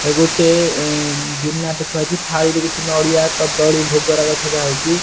ଏ ଗୁଟେ ଏଁ ଗିନାଟେ ଥୁଆ ହେଇଚି ଥାଳିରେ କିଛି ନଡ଼ିଆ କଦଳୀ ଭୋଗ ରାଗ ସଜା ହେଇଚି ।